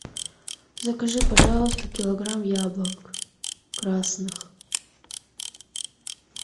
закажи пожалуйста килограмм яблок красных